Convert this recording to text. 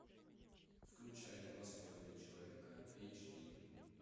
включай два с половиной человека эйч ди